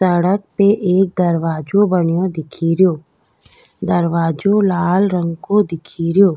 सड़क पे एक दरवाजो बनयो दिखेरो दरवाजो लाल रंग को दिखेरो।